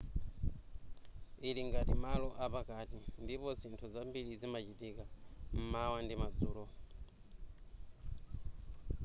ili ngati malo apakati ndipo zinthu zambiri zimachitika m'mawa ndi madzulo